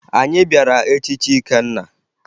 Anyị bịara echichi Ikenna